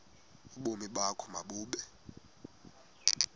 ubomi bakho mabube